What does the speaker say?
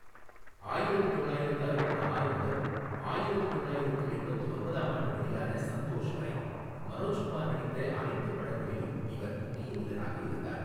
ஆயிரத்து தொள்ளயிரத்து அறுபத்து ஆறு முதல் ஆயிரத்து தொள்ளயிரத்து எண்பத்து ஒன்பதாம் ஆண்டு வெளியான சந்தோஷ் வரை மனோஜ்குமார் நடித்த அனைத்து படங்களிலும் இவர் முக்கிய வில்லனாக இருந்தார்.